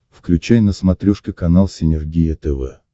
включай на смотрешке канал синергия тв